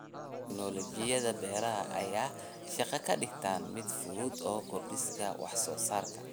Tiknoolajiyada beeraha ayaa shaqada ka dhigta mid fudud oo kordhisa wax soo saarka.